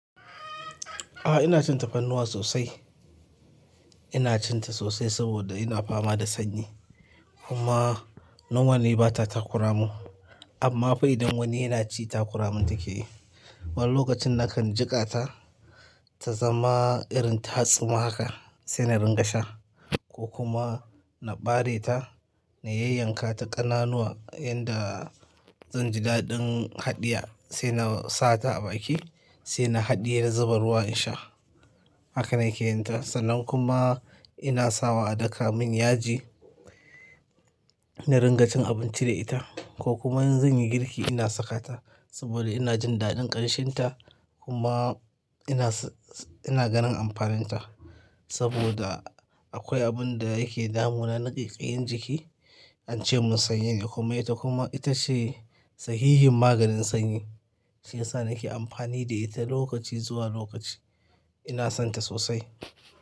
A'a ina cin tafarnuwa sosai. Ina cin ta sosai saboda ina fama da sanyi kuma nomali ni ba ta takura mun amma fa idan wani yana ci ta kuramin take yi. Wani lokacin nakan jiƙa ta ta zama irin tatsuma haka sai na ringa sha ko kuma na bare ta na yayyanka ta ƙananuwa yanda zan ji daɗin haɗiya sai na sa ta a baki sai na haɗiye na zuba ruwa in sha. Haka na ke yin ta sannan kuma ina sawa a daka mun yaji na ringa cin abinci da ita ko kuma in zan yi girki ina saka ta saboda ina jin daɗin ƙanshin ta kuma ina s-s-ina ganin amfanin ta saboda akwai abun da yake damunana na ƙaiƙayi jiki, an ce mun sanyi ne kuma ita kuma ita ce sahihin maganin sanyi shiyasa nake amfani da ita lokaci zuwa lokaci. Ina son ta sosai.